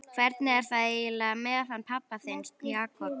Hvernig er það eiginlega með hann pabba þinn, Jakob?